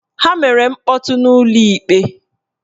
Ha mere mkpọtụ n'ụlọ ikpe